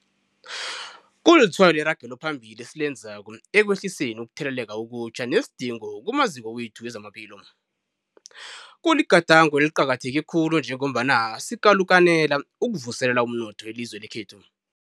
Kulitshwayo leragelophambili esilenzako ekwehliseni ukutheleleka okutjha nesidingo kumaziko wethu wezamaphilo. Kuligadango eliqakatheke khulu njengombana sikalukanela ukuvuselela umnotho welizwe lekhethu.